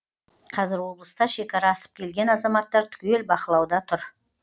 қазір облыста шекара асып келген азаматтар түгел бақылауда тұр